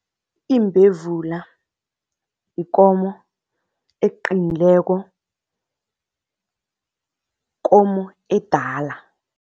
Imbevula yikomo eqinileko, komo edala.